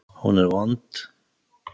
Hún er vond.